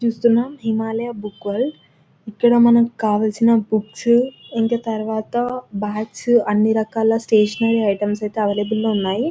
చూస్తున్నాం Himalaya book world ఇక్కడ మనకి కావలిసినవి బుక్స్ ఇంకా బాగ్స్ అన్నిరకాల స్టేషనరీ ఐటమ్స్ అవైలబ్లె లో ఉన్నాయి.